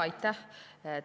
Aitäh!